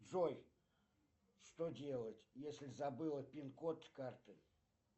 джой что делать если забыла пинкод карты